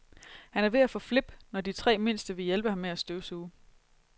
Han er ved at få flip, når de tre mindste vil hjælpe ham med at støvsuge.